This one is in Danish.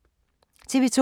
TV 2